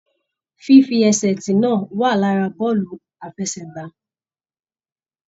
Fífi ẹsẹ tí náà wà lára bọọlu àfẹ́sẹ̀gbà.